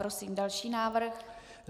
Prosím další návrh.